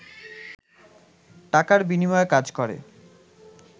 টাকার বিনিময়ে কাজ করে